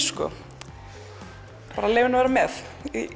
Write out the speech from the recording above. bara leyfa henni að vera með